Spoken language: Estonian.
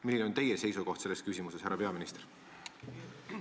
Milline on teie seisukoht selles küsimuses, härra peaminister?